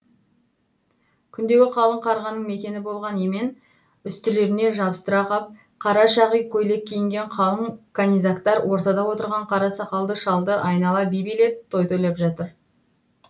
күндегі қалың қарғаның мекені болған емен үстілеріне жабыстыра қап қара шағи көйлек киінген қалың канизактар ортада отырған қара сақалды шалды айнала би билеп той тойлап жатыр